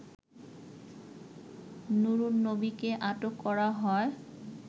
নুরুন্নবীকে আটক করা হয়